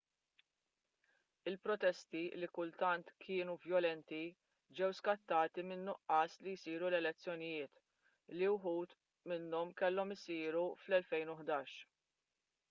il-protesti li kultant kienu vjolenti ġew skattati min-nuqqas li jsiru l-elezzjonijiet li uħud minnhom kellhom isiru fl-2011